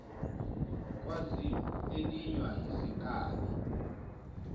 kwazimu elinywa yizinkabi